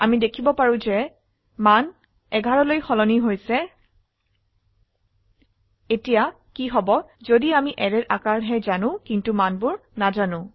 আমি দেখিব পাৰো যে মান 11 লৈ সলনি হৈছে এতিয়া কি হব যদি আমি অ্যাৰেৰ আকাৰ হে জানো কিন্তু মানবোৰ নাজানো